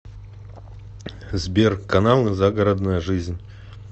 сбер каналы загородная жизнь